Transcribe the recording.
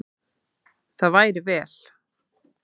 Það væri vel.